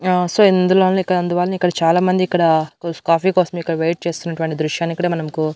ఆ సో ఇందులో ఇక్కడ అందువలన ఇక్కడ చాలా మంది ఇక్కడ కాఫీ కోసం ఇక్కడ వెయిట్ చేస్తున్నటువంటి దృశ్యాన్ని ఇక్కడ మనకు--